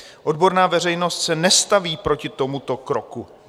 Odborná veřejnost se nestaví proti tomuto kroku.